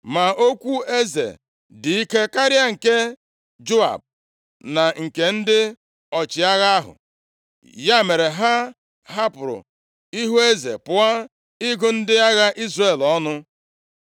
Ma okwu eze dị ike karịa nke Joab na nke ndị ọchịagha ahụ. Ya mere, ha hapụrụ ihu eze pụọ ịgụ ndị agha Izrel ọnụ.